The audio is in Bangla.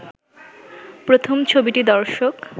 প্রথম ছবিটি দর্শক